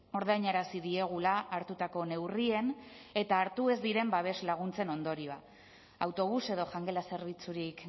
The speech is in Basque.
ordainarazi diegula hartutako neurrien eta hartu ez diren babes laguntzen ondorioak autobus edo jangela zerbitzurik